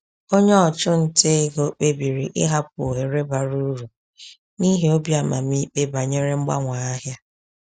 Onye ọchụnta ego kpebiri ịhapụ ohere bara uru n’ihi obi amamikpe banyere mgbanwe ahịa.